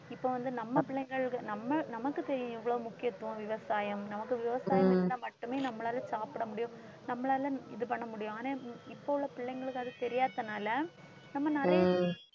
இப்ப வந்து நம்ம பிள்ளைகளுக்கு நம்ம நமக்குத் தெரியும் இவ்வளவு முக்கியத்துவம் விவசாயம் நமக்கு விவசாயம் இருந்தா மட்டுமே நம்மளால சாப்பிட முடியும். நம்மளால இது பண்ண முடியும் ஆனா இப்ப உள்ள பிள்ளைங்களுக்கு அது தெரியாததுனால நம்ம நிறைய